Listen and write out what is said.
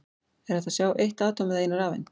Er hægt að sjá eitt atóm eða eina rafeind?